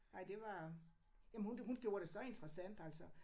Ej det var jamen hun hun gjorde det så interessant altså